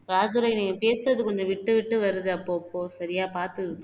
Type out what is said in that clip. ராஜதுரை நீங்க பேசுறது கொஞ்சம் விட்டு விட்டு வருது அப்பப்போ சரியா பாத்துக்கோங்க